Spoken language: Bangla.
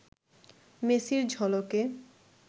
মেসির ঝলকে